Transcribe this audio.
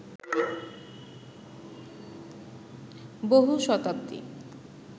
বহু শতাব্দী